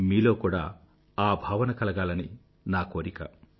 మీలో కూడా ఆ భావన కలగాలని నా కోరిక